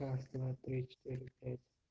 раз два три четыре пять